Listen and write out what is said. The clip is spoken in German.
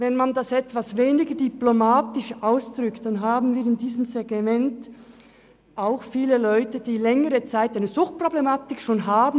Drückt man es etwas weniger diplomatisch aus, dann haben wir in diesem Segment auch viele Leute, die bereits seit längerer Zeit eine Suchtproblematik haben.